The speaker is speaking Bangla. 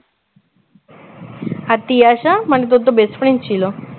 আর তিয়াসা মানে তোর তো best friend ছিল